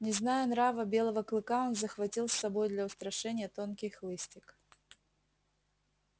не зная нрава белого клыка он захватил с собой для устрашения тонкий хлыстик